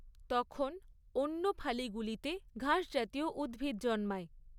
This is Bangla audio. তখন অন্যফালি গুলিতে ঘাস জাতীয় উদ্ভিদ জন্মায়।